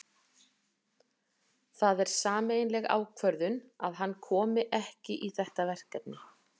Það er sameiginleg ákvörðun að hann komi ekki í þetta verkefni.